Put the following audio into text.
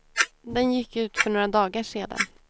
Den gick ut för några dagar sedan.